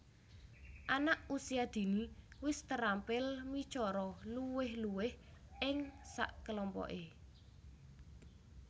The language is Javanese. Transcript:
Anak Usia Dini wis terampil micara luwih luwih ing sakelompoke